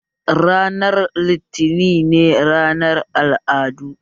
Ranar litinin ne ranar al'adu